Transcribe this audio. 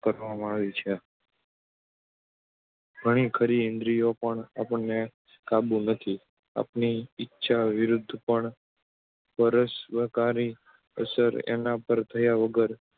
કરવામાં આવી છે ઘણીખરી ઇન્દ્રિયો પણ આપણને કાબૂ નથી. આપણી ઇચ્છા વિરુદ્ધ પણ પર સંસ્કારની અસર એના પર થયા વગર